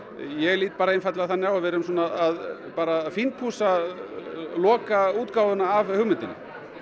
ég lít einfaldlega þannig á að við séum að fínpússa af hugmyndinni